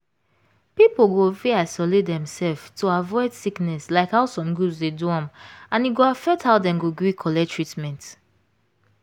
people go fit isolate demself to avoid sickness like how some groups dey do am and e go affect how dem go gree collect treatment.